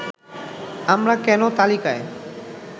আমরা কেন তালিকায়